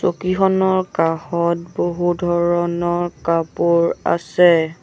চকীখনৰ কাষত বহু ধৰণৰ কাপোৰ আছে।